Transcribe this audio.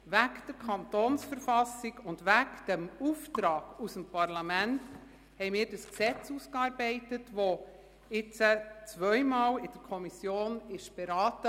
Wegen der Verfassung des Kantons Bern (KV) und wegen dem Auftrag aus dem Parlament haben wir dieses Gesetz ausgearbeitet, und es wurde zweimal in der Kommission beraten.